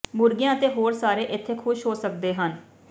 ਮੁਰਗੀਆਂ ਅਤੇ ਹੋਰ ਸਾਰੇ ਇੱਥੇ ਖੁਸ਼ ਹੋ ਸਕਦੇ ਹਨ